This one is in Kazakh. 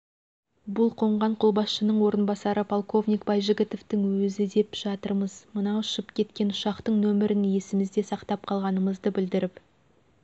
бұл қонған қолбасшының орынбасары полковник байжігітовтің өзі деп жатырмыз мына ұшып кеткен ұшақтың нөмірін есімізде сақтап қалғанымызды білдіріп